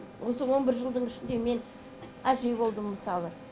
осы он бір жылдың ішінде мен әже болдым мысалы